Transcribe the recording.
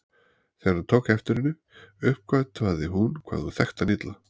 Þegar hann tók eftir henni uppgötvaði hún hvað hún þekkti hann illa.